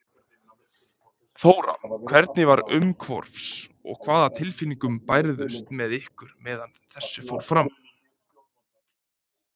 Þóra: Hvernig var umhorfs og hvaða tilfinningar bærðust með ykkur meðan þessu fór fram?